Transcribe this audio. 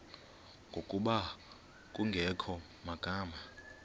ngokuba kungekho magama